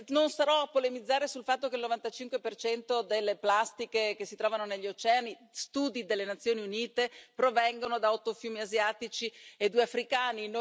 Non starò a polemizzare sul fatto che il 95 delle plastiche che si trovano negli oceani studi delle Nazioni Unite provengono da otto fiumi asiatici e due africani.